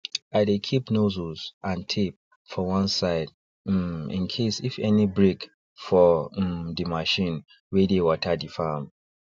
i dey keep nozzles and tape for one side um incase if any break for um the machine wey dey water the farm